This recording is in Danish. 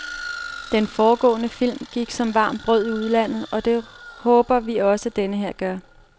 Den foregående film gik som varmt brød i udlandet, og det håber vi også, at denne her gør.